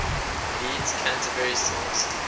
bede's canterbury source